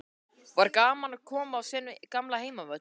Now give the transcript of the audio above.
Var gaman að koma á sinn gamla heimavöll?